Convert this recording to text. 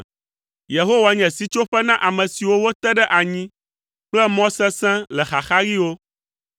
Yehowa nye sitsoƒe na ame siwo wote ɖe anyi kple mɔ sesẽ le xaxaɣiwo.